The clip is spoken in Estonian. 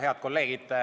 Head kolleegid!